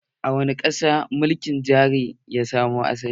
A wani ƙasa mulkin jari-hujja ya samo asali.